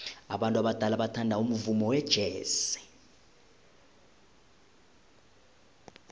abantu abadala bathanda umvumo wejazz